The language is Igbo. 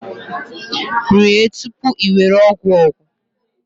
Rie tupu i were ogwu ogwu